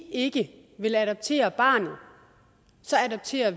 ikke vil adoptere barnet så adopterer